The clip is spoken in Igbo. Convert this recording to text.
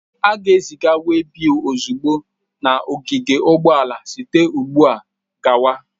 A ga-eziga webils ozugbo na ogige ụgbọala site ugbu a gawa.